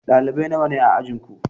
Ɗalibai nawa ne a ajinku?